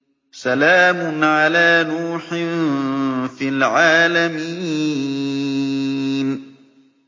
سَلَامٌ عَلَىٰ نُوحٍ فِي الْعَالَمِينَ